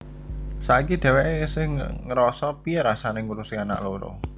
Saiki dheweké esih ngerasa piye rasané ngurusi anak loro